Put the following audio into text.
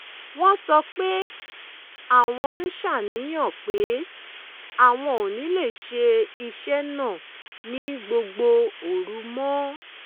wọ́n sọ pé àwọn ń ṣàníyàn pé àwọn ò ní lè ṣe iṣẹ́ náà ní gbogbo òru mọ́